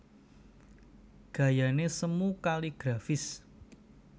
Gayané semu kaligrafis